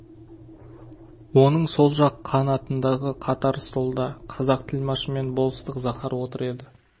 оның сол жақ қанатындағы қатар столда қазақ тілмашы мен болыстық захар отыр еді